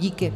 Díky.